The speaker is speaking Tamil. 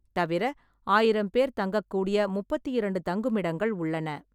தவிர, ஆயிரம் பேர் தங்கக்கூடிய முப்பத்தி இரண்டு தங்குமிடங்கள் உள்ளன.